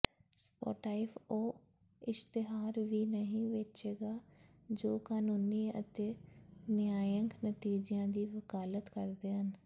Spotify ਉਹ ਇਸ਼ਤਿਹਾਰ ਵੀ ਨਹੀਂ ਵੇਚੇਗਾ ਜੋ ਕਾਨੂੰਨੀ ਅਤੇ ਨਿਆਂਇਕ ਨਤੀਜਿਆਂ ਦੀ ਵਕਾਲਤ ਕਰਦੇ ਹਨ